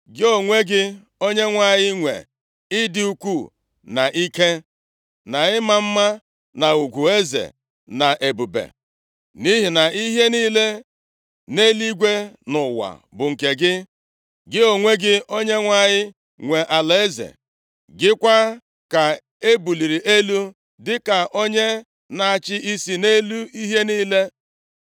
Gị onwe gị, Onyenwe anyị nwe ịdị ukwu, na ike, na ịma mma, na ugwu eze, na ebube, nʼihi na ihe niile nʼeluigwe na nʼụwa bụ nke gị. Gị onwe gị, Onyenwe anyị nwe alaeze. Gị kwa ka e buliri elu dịka onye na-achị isi nʼelu ihe niile.